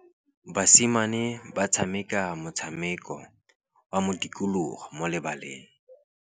Basimane ba tshameka motshameko wa modikologô mo lebaleng.